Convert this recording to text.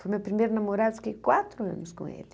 Foi meu primeiro namorado, fiquei quatro anos com ele.